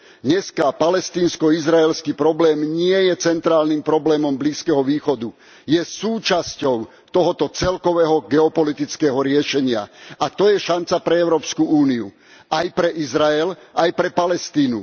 Dnes palestínsko izraelský problém nie je centrálnym problémom Blízkeho východu, je súčasťou tohto celkového geopolitického riešenia a to je šanca pre Európsku úniu, aj pre Izrael, aj pre Palestínu.